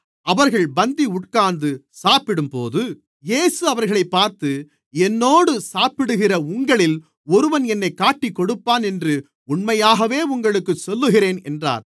அவர்கள் பந்தி உட்கார்ந்து சாப்பிடும்போது இயேசு அவர்களைப் பார்த்து என்னோடு சாப்பிடுகிற உங்களில் ஒருவன் என்னைக் காட்டிக்கொடுப்பான் என்று உண்மையாகவே உங்களுக்குச் சொல்லுகிறேன் என்றார்